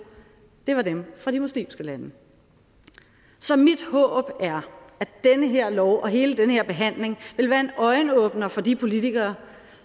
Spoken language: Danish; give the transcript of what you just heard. var dem fra de muslimske lande så mit håb er at den her lov og hele den her behandling vil være en øjenåbner for de politikere